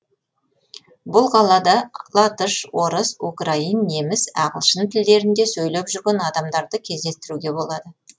бұл қалада латыш орыс украин неміс ағылшын тілдерінде сөйлеп жүрген адамдарды кездестіруге болады